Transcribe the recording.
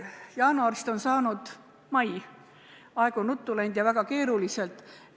Jaanuarist on saanud mai, aeg on läinud ruttu ja väga keeruliselt.